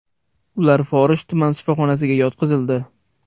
Ular Forish tuman shifoxonasiga yotqizildi.